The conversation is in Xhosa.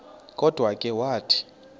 kodwa ke wathi